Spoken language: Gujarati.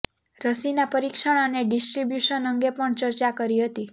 રસીના પરીક્ષણ અને ડિસ્ટ્રીબ્યુશન અંગે પણ ચર્ચા કરી હતી